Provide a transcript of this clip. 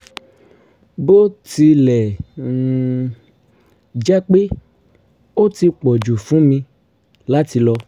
bó tilẹ̀ um jẹ́ pé ó ti pọ̀ jù fún mi láti lọ